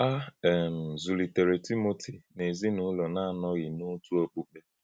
A um zùlitèrè Tímótì n’ezinụlọ̀ na-anọ̀ghị n’òtù òkùkpè.